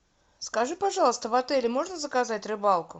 скажи пожалуйста в отеле можно заказать рыбалку